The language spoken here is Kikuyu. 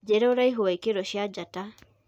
njĩĩra uraihu wa ikiro cĩa njata